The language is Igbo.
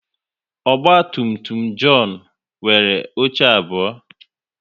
Ogba tum tum John nwere oche abụọ